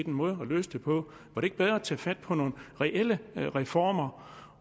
måde at løse det på var det ikke bedre at tage fat på nogle reelle reformer